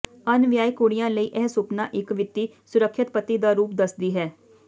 ਅਣਵਿਆਹੇ ਕੁੜੀਆਂ ਲਈ ਇਹ ਸੁਪਨਾ ਇੱਕ ਵਿੱਤੀ ਸੁਰੱਖਿਅਤ ਪਤੀ ਦਾ ਰੂਪ ਦੱਸਦੀ ਹੈ